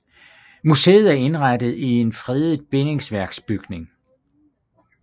Museet er indrettet i en fredet bindingsværksbygning